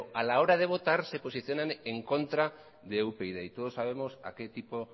a la hora de votar se posicionan en contra de upyd y todos sabemos a qué tipo